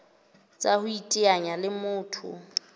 tsa ho iteanya le motho